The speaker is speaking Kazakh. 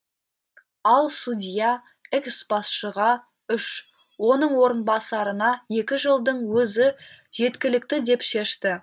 ал судья экс басшыға үш оның орынбасарына екі жылдың өзі жеткілікті деп шешті